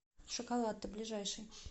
шоколатте ближайший